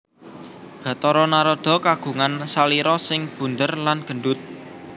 Bathara Narada kagungan salira sing bundér lan gendut